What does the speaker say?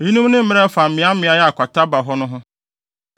Eyinom ne mmara a ɛfa mmeaemmeae a kwata ba hɔ no ho.